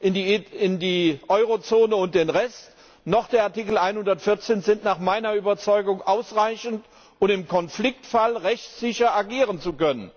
in die Eurozone und den Rest unterteilt, noch der Artikel 114 sind nach meiner Überzeugung ausreichend, um im Konfliktfall rechtssicher agieren zu können.